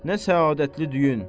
Nə səadəttli düyün.